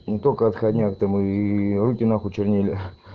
не только отходняк так и руки нахуй чернели